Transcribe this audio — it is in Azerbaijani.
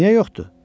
Niyə yoxdur?